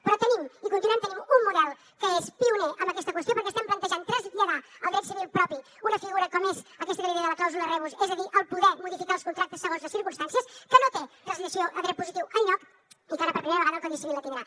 però tenim i continuarem tenint un model que és pioner amb aquesta qüestió perquè estem plantejant traslladar al dret civil propi una figura com és aquesta que li deia de la clàusula rebus és a dir el poder modificar els contractes segons les circumstàncies que no té translació a dret positiu enlloc i que ara per primera vegada el codi civil la tindrà